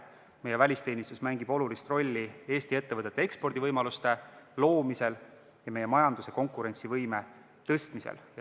Meie välisteenistus mängib olulist rolli Eesti ettevõtete ekspordivõimaluste loomisel ja meie majanduse konkurentsivõime tõstmisel.